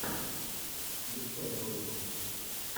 включай ролики